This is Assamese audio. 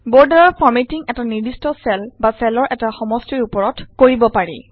বৰ্ডাৰ ফৰমেটিং এটা নিৰ্দিষ্ট চেল বা চেলৰ এটা সমষ্টিৰ উপৰত কৰিব পাৰি